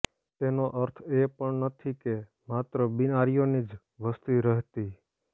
તેનો અર્થ એ પણ નથી કે માત્ર બિનઆર્યોની જ વસતી રહેતી